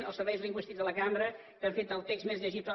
als serveis lingüístics de la cambra que han fet el text més llegible